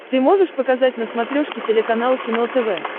ты можешь показать на смотрешке телеканал кино тв